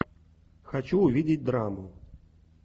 хочу увидеть драму